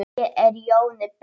Ég er Jóni Ben.